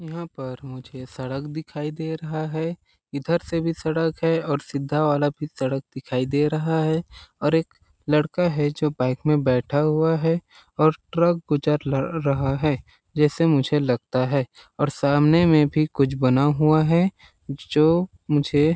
यहाँ पर मुझे सड़क दिखाई दे रहा है। इधर से भी सड़क है और सिद्धा वाला भी सड़क दिखाई दे रहा है और एक लड़का है जो बाइक मैं बैठा हुआ है और ट्रक गुजर र रहा है जैसे मुझे लगता है। और सामने में भी कुछ बना हुआ हैं जो मुझे--